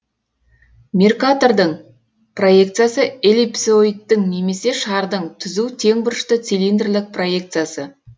меркатордың проекциясы эллипсоидтің немесе шардың түзу тең бұрышты цилиндрлік проекциясы